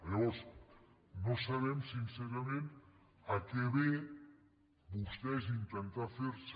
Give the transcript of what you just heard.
aleshores no sabem sincerament a què ve vostès intentar ferse